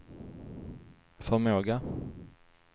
förmåga